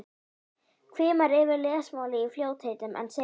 Hvimar yfir lesmálið í fljótheitum en segir síðan